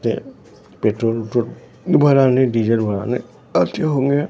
ते पेट्रोल - उट्रोल भराने डीजल भराने आते होंगे।